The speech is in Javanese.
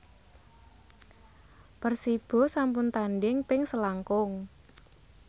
Persibo sampun tandhing ping selangkung